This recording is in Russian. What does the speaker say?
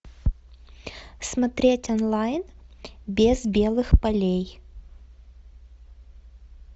смотреть онлайн без белых полей